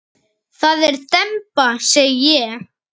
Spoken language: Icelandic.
Það er demba segi ég.